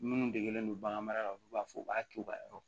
Minnu degelen do bagan mara la olu b'a fɔ u b'a to u ka yɔrɔ